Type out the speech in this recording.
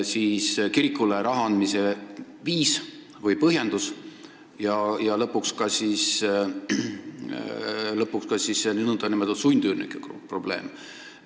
Siis kirikule raha andmise põhjendus ja lõpuks ka nn sundüürnike probleem.